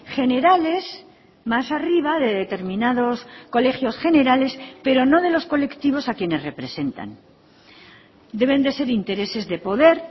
generales más arriba de determinados colegios generales pero no de los colectivos a quienes representan deben de ser intereses de poder